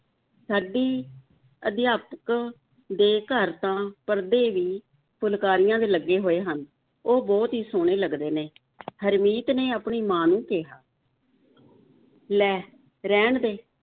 ਸਾਡੀ ਅਧਿਆਪਕ ਦੇ ਘਰ ਤਾਂ ਪਰਦੇ ਵੀ ਫੁਲਕਾਰੀਆਂ ਦੇ ਲੱਗੇ ਹੋਏ ਹਨ, ਉਹ ਬਹੁਤ ਹੀ ਸੋਹਣੇ ਲੱਗਦੇ ਨੇ ਹਰਮੀਤ ਨੇ ਆਪਣੀ ਮਾਂ ਨੂੰ ਕਿਹਾ ਲੈ, ਰਹਿਣ ਦੇ,